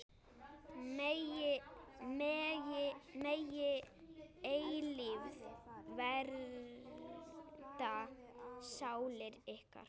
Megi eilífð vernda sálir ykkar.